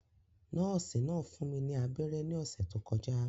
Nọ́ọ̀sì náà fún mi ní abẹ́rẹ́ ní ọ̀sẹ̀ tó kọjá